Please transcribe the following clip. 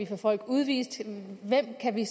få folk udvist hvem kan vi